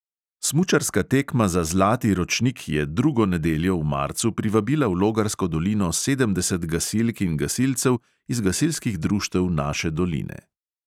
Smučarska tekma za zlati ročnik je drugo nedeljo v marcu privabila v logarsko dolino sedemdeset gasilk in gasilcev iz gasilskih društev naše doline.